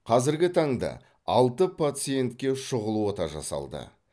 қазіргі таңда алты пациентке шұғыл ота жасалды